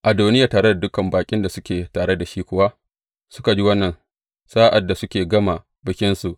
Adoniya tare da dukan baƙin da suke tare da shi kuwa suka ji wannan sa’ad da suke gama bikinsu.